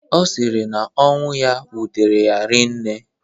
Ọ sịrị na ọnwụ ya wutere ya rii nne